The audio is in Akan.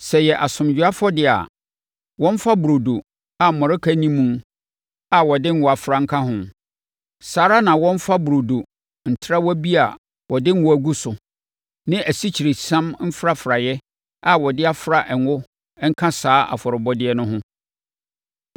“ ‘Sɛ ɛyɛ asomdwoeɛ afɔdeɛ a, wɔmfa burodo a mmɔreka nni mu a wɔde ngo afra nka ho. Saa ara na wɔmfa burodo ntrawa bi a wɔde ngo agu so ne asikyiresiam mfrafraeɛ a wɔde afra ngo nka saa afɔrebɔdeɛ no ho.